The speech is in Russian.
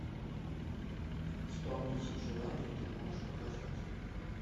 исполнитель желаний ты можешь показать